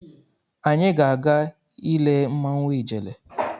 Anyị ga-aga ile mmanwụ Ijele.